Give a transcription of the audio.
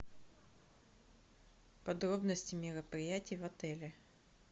подробности мероприятий в отеле